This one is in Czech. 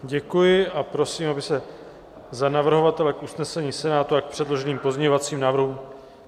Děkuji a prosím, aby se za navrhovatele k usnesení Senátu a k předloženým pozměňovacím návrhům...